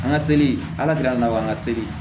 An ka seli ala deli an ka seli